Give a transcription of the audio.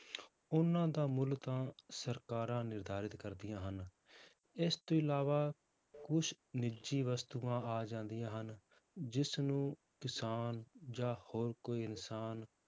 ਉਹਨਾਂ ਦਾ ਮੁੱਲ ਤਾਂ ਸਰਕਾਰਾਂ ਨਿਰਧਾਰਿਤ ਕਰਦੀਆਂ ਹਨ, ਇਸ ਤੋਂ ਇਲਾਵਾ ਕੁਛ ਨਿੱਜੀ ਵਸਤੂਆਂ ਆ ਜਾਂਦੀਆਂ ਹਨ ਜਿਸਨੂੰ ਕਿਸਾਨ ਜਾਂ ਹੋਰ ਕੋਈ ਇਨਸਾਨ